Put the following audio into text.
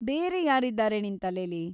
ಬೇರೆ ಯಾರಿದ್ದಾರೆ ನಿನ್ ತಲೆಲಿ?